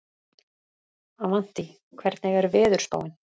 Avantí, hvernig er veðurspáin?